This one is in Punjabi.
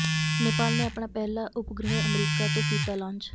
ਨੇਪਾਲ ਨੇ ਆਪਣਾ ਪਹਿਲਾ ਉਪਗ੍ਰਹਿ ਅਮਰੀਕਾ ਤੋਂ ਕੀਤਾ ਲਾਂਚ